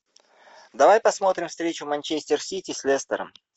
давай посмотрим встречу манчестер сити с лестером